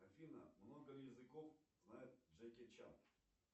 афина много ли языков знает джеки чан